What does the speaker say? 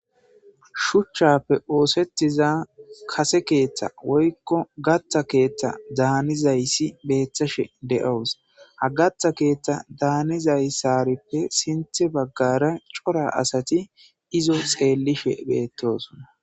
Shuchchappe oosettiza kase keeththe woykko gatta keeththa hanizayssi beettashe de7awus. Ha gatta keeththa hanizayssarippe sinthe baggara cora asati izo xeellishe beettosona.